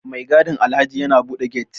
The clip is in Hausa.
Mai gadin Alhaji ya bude get